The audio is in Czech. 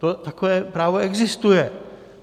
Takové právo existuje.